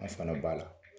An fana b'a la